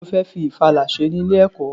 Kí lo fẹ́ fi ìfala ṣe ní ilé-ẹ̀kọ́?